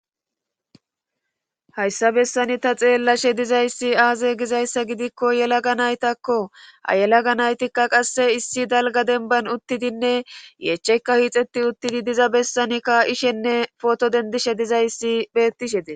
Hayssa bessani ta xeellashe dizayssi aaze gizayssa gidikko yelaga naytakko ayelaga naytikka qasse issi dalga denban uttidinne yechekka hiixetti uttidi diza bessani kaa7ishenne foto dendishe dizayssi bettishe dee...